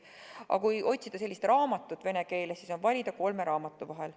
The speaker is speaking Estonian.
Aga kui otsida sellekohast kirjandust vene keeles, siis on valida kolme raamatu vahel.